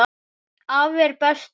Afi er bestur.